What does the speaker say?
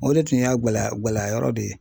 O de tun y'a gɛlɛya gɛlɛyayɔrɔ de ye